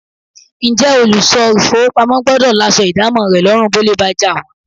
Ǹjẹ́ olùṣọ́ ìfówopamọ́ gbọ́dọ̀ láṣọ ìdámọ̀ rẹ lọ́rùn bólè bá jà wọ́n?